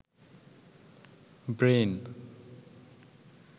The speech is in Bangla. ব্রেইন